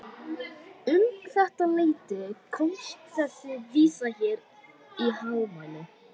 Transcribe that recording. Um þetta leyti komst þessi vísa hér í hámæli